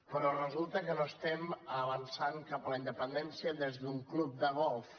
però resulta que no avancem cap a la independència des d’un club de golf